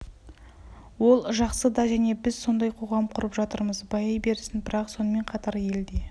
ол жақсы да және біз сондай қоғам құрып жатырмыз байи берсін бірақ сонымен қатар ел де